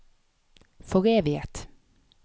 foreviget